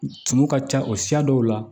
Tumu ka ca o siya dɔw la